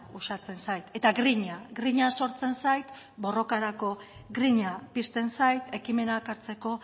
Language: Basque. osatzen zait eta grina grina sortzen zait borrokarako grina pizten zait ekimenak hartzeko